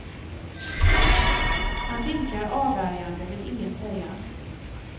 Han vinkar avvärjande, vill inget säga.